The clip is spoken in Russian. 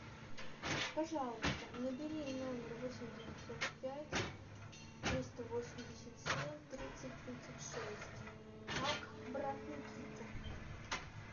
пожалуйста набери номер восемь девятьсот пять триста восемьдесят семь тридцать тридцать шесть как брат никита